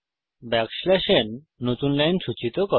backslash n n নতুন line সূচিত করে